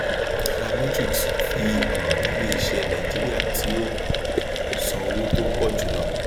nairametrics fi hàn iléiṣé nàìjíríà tí ó san owó tó pọ jùlọ